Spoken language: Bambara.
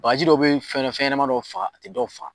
Bakaji dɔw be fɛn ɲɛnaman dɔw faga, a te dɔw faga.